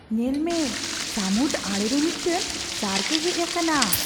ᱧᱮᱞ ᱢᱮ ! ᱥᱟᱹᱢᱩᱫ ᱟᱲᱮ ᱨᱮ ᱢᱤᱫᱴᱟᱝ ᱥᱟᱨᱠᱼᱮ ᱦᱮᱡ ᱟᱠᱟᱱᱟ !